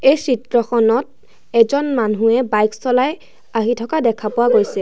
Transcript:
এই চিত্ৰখনত এজন মানুহে বাইক চলাই আহি থকা দেখা পোৱা গৈছে।